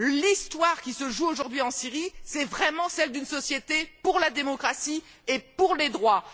L'histoire qui se joue aujourd'hui en Syrie est vraiment celle d'une société en lutte pour la démocratie et pour les droits.